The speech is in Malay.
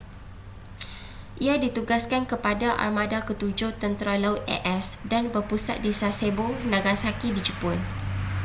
ia ditugaskan kepada armada ketujuh tentera laut a.s. dan berpusat di sasebo nagasaki di jepun